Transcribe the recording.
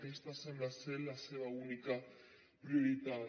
aquesta sembla la seva única prioritat